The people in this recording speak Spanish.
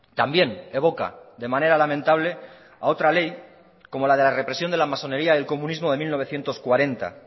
también evoca de manera lamentable a otra ley como la de la represión de la masonería del comunismo de mil novecientos cuarenta